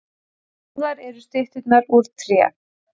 Báðar eru stytturnar úr tré